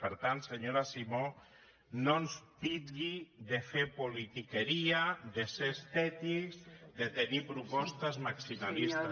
per tant senyora simó no ens titlli de fer politiqueria de ser estètics de tenir propostes maximalistes